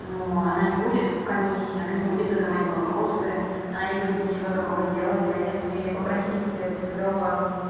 ну она не будет в комиссии она не будет задавать вопросы она не будет ничего такого делать а если попросить цивилёва